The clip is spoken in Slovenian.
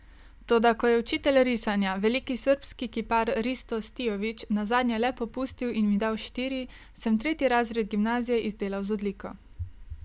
Toda ko je učitelj risanja, veliki srbski kipar Risto Stijović, nazadnje le popustil in mi dal štiri, sem tretji razred gimnazije izdelal z odliko.